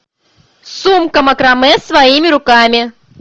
сумка макраме своими руками